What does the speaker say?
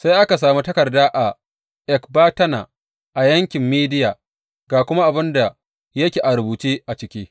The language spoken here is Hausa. Sai aka sami takarda a Ekbatana a yankin Mediya, ga kuma abin da yake rubuce a ciki.